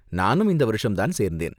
நானும் இந்த வருஷம்தான் சேர்ந்தேன்.